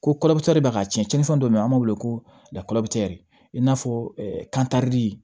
Ko de bɛ ka cɛnni fɛn dɔ bɛ yen an b'a wele ko i n'a fɔ kandi